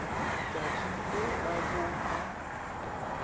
tšatši le la bo la